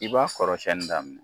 I b'a kɔrɔsɛni da